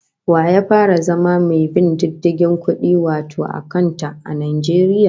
Wa ya fara zama mai bin diddigin kudi wato akanta, a Najeriya?